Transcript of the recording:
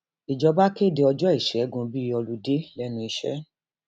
ìjọba kéde ọjọ ìṣègùn bíi olùdé lẹnu iṣẹ